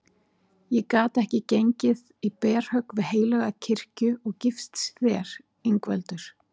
Ég gat ekki gengið í berhögg við heilaga kirkju og gifst þér Ingveldur.